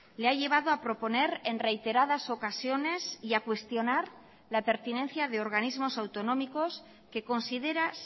le ha llevado a proponer en reiteradas ocasiones y a cuestionar la pertinencia de organismos autonómicos que considera